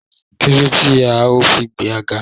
Kilode ti o fi ga?